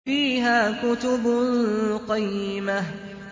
فِيهَا كُتُبٌ قَيِّمَةٌ